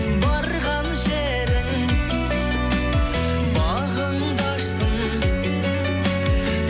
барған жерің бағыңды ашсын